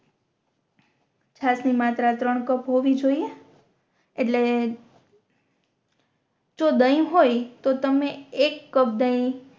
છાસ ની માત્ર ત્રણ કપ હોવી જોઇયે એટલે જો દહી હોય તો તમે એક કપ દહી